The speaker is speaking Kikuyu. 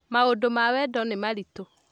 Maũndũma wendo nĩ maritũ